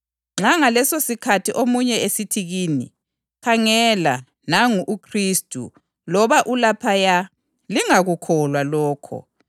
Nxa ngalesosikhathi omunye esithi kini, ‘Khangela, nangu uKhristu!’ loba ‘Ulaphaya!’ lingakukholwa lokho.